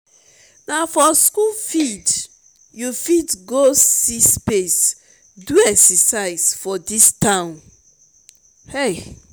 na for skool field you go see space do exercise for dis town o.